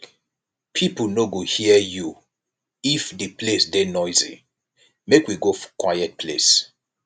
pipo no go hear you if di place dey noisy make we go quiet place